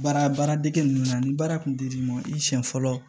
Baara baaradege ninnu na ni baara kun dir'i ma i siɲɛ fɔlɔ